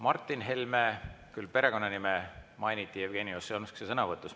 Martin Helme perekonnanime mainiti Jevgeni Ossinovski sõnavõtus.